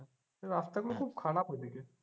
রাস্তা গুলো খুব খারাপ ঐ দিকের।